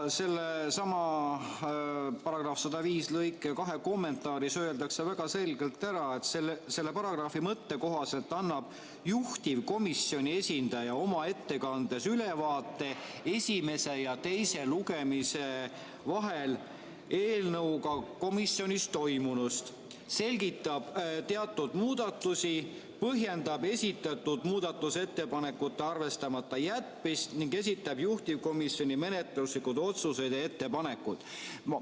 Sellesama § 105 lõike 2 kommentaaris on väga selgelt öeldud, et selle paragrahvi "mõtte kohaselt annab juhtivkomisjoni esindaja oma ettekandes ülevaate esimese ja teise lugemise vahel eelnõuga komisjonis toimunust: selgitab teatud muudatusi, põhjendab esitatud muudatusettepanekute arvestamata jätmist ning esitab juhtivkomisjoni menetluslikud otsused ja ettepanekud".